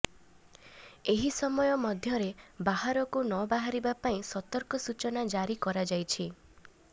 ଏହି ସମୟ ମଧ୍ୟରେ ବାହାରକୁ ନବାହାରିବା ପାଇଁ ସତର୍କ ସୂଚନା ଜାରି କରାଯାଇଛି